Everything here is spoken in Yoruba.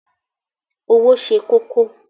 Owo se koko